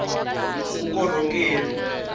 vukorhokeri